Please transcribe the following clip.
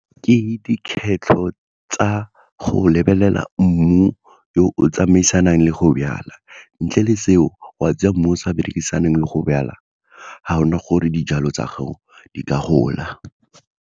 Ke dikgetlho tsa go lebelela mmu yo o tsamaisanang le go jala, ntle le seo wa tsaya mmu o sa berekisana le go jala ga gona gore dijalo tsa gago di ka gola.